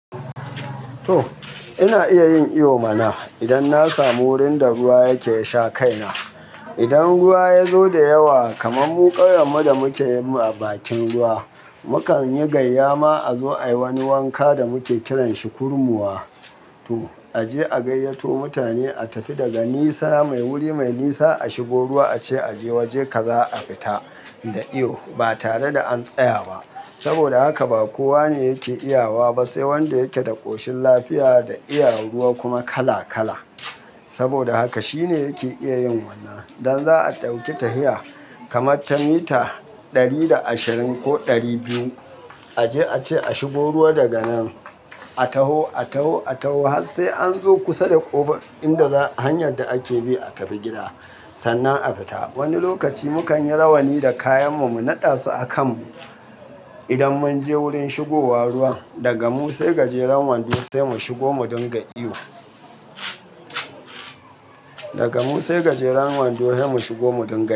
To ina iya yin iyo mana idan na samu wurinda ruwa yake sha kaina. Idan ruwa yazo da yawa kaman mu ƙauyen mu da muke mu a bakin ruwa, mukan yi gayya ma azo ayi wani wanka da muke kiran shi kurmuwa. To aje a gayyato mutane a tafi daga nisa mai wuri mai nisa ashigo ruwa ace aje waje kaza a fita da iyo ba tare da an tsaya ba. Saboda haka ba kowane yake iya wa ba sai wanda yake da ƙoshin lafiya da iya ruwa kuma kala kala. Saboda haka shine yake iya yin wannan. Idan za'a ɗauki tahiya kamarta mita ɗari da ashirin ko ɗari biyu aje ace ashigo ruwa daga nan a taho, a taho, a taho har sai anzo kusa da ƙofa inda za hanyar da ake bi a tafi gida sannan a fita. Wani lokaci mu kan yi rawani da kayan mu mu naɗa su a kan mu. Idan munje wurin shigowa ruwan daga mu sai gajeren wando sai mu shigo mu dinga iyo. Daga mu sai gajeren wando sai mu shigo mu dinga.